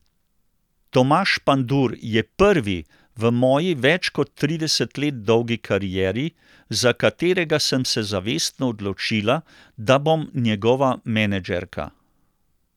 Tomaž Pandur je prvi v moji več kot trideset let dolgi karieri, za katerega sem se zavestno odločila, da bom njegova menedžerka.